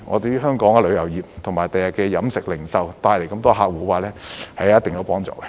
這為香港的旅遊業及飲食、零售業等帶來更多客戶，會有一定幫助。